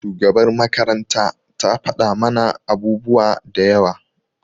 shugabar makaranta ta fada mana abubuwa da yawa.